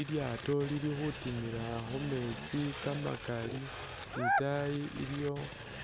Ilyaato lili khutimila khumeetsi kamakaali ne itaayi iliyo